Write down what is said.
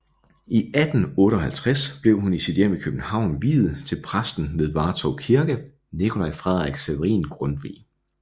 I 1858 blev hun i sit hjem i København viet til præsten ved Vartov Kirke Nicolai Frederik Severin Grundtvig